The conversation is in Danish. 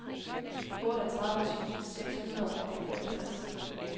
otteogtredive tusind seks hundrede og femogtres